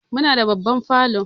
Muna da babban falo.